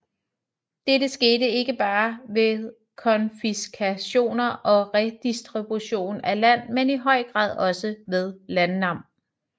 Dette skete ikke bare ved konfiskationer og redistribution af land men i høj grad også ved landnam